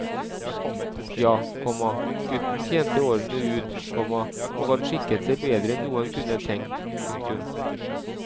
Ja, komma gutten tjente årene ut, komma og han skikket seg bedre enn noen kunne tenkt. punktum